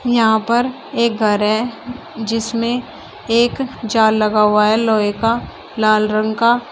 यहां पर एक घर है जिसमें एक जाल लगा हुआ है लोहे का लाल रंग का।